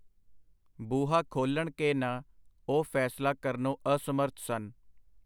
ਬੂਹਾ ਖੋਲ੍ਹਣ ਕਿ ਨਾ, ਉਹ ਫੈਸਲਾ ਕਰਨੋਂ ਅਸਮਰਥ ਸਨ.